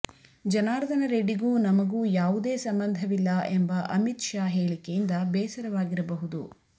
ಜನಾರ್ದನ ರೆಡ್ಡಿಗೂ ನಮಗೂ ಯಾವುದೇ ಸಂಬಂಧವಿಲ್ಲ ಎಂಬ ಅಮಿತ್ ಶಾ ಹೇಳಿಕೆಯಿಂದ ಬೇಸರವಾಗಿರಬಹುದು